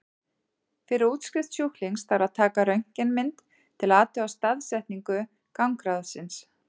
Fyrir útskrift sjúklings þarf að taka röntgenmynd til að athuga staðsetningu gangráðsins.